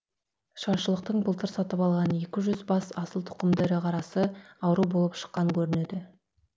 шаршылықтың былтыр сатып алған екі жүз бас асыл тұқымды ірі қарасы ауру болып шыққан көрінеді